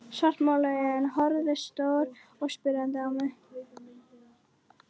Svartmáluð augun horfðu stór og spyrjandi á mig.